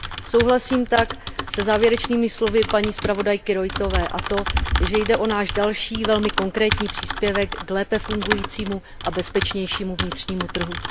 Souhlasím tak se závěrečnými slovy zpravodajky Roithové a to, že jde o náš další velmi konkrétní příspěvek k lépe fungujícímu a bezpečnějšímu vnitřnímu trhu.